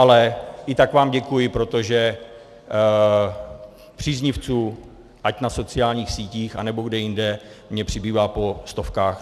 Ale i tak vám děkuji, protože příznivců, ať na sociálních sítích, anebo kde jinde, mi přibývá po stovkách.